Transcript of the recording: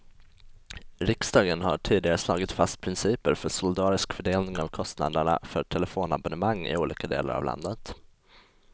Riksdagen har tidigare slagit fast principer för solidarisk fördelning av kostnaderna för telefonabonnemang i olika delar av landet.